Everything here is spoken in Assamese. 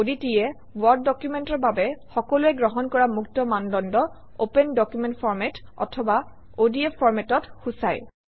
ODT এ ৱৰ্ড ডকুমেণ্টৰ বাবে সকলোৱে গ্ৰহণ কৰা মুক্ত মানদণ্ড অপেন ডকুমেণ্ট ফৰমাত অথবা অডিএফ format অক সূচায়